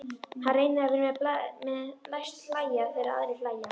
Hann reynir að vera með, læst hlæja þegar aðrir hlæja.